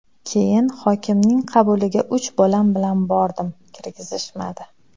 Keyin hokimning qabuliga uch bolam bilan bordim, kirgizishmadi.